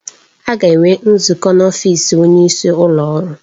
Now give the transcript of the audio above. A ga-enwe nzukọ n'ọfịs onyeisi ụlọ ọrụ.